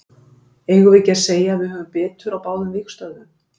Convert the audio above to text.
Eigum við ekki að segja að við höfum betur á báðum vígstöðvum?